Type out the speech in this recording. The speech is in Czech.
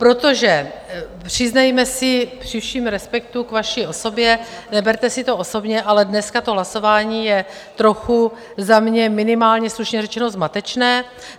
Protože přiznejme si při všem respektu k vaší osobě, neberte si to osobně, ale dneska to hlasování je trochu za mě minimálně slušně řečeno zmatečné.